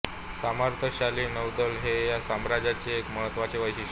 सामर्थ्यशाली नौदल हे या साम्राज्याचे एक महत्त्वाचे वैशिष्ट्य